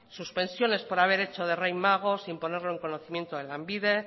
suspensiones por haber hecho de rey mago sin ponerlo en conocimiento a lanbide